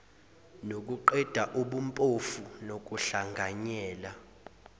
nokuqeda ubumpofu nokuhlanganyela